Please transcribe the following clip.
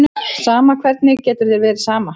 Sama, hvernig getur þér verið sama?